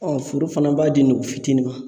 fueu fana b'a di ngɔfitini ma.